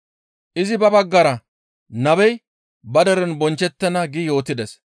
Izi ba baggara, «Nabey ba deren bonchchettenna» gi yootides.